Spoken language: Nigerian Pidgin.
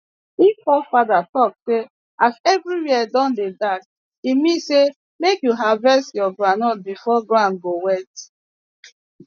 if fore fathers talk say as everywhere don dey dark e mean say make you harvest your groundnut before ground go wet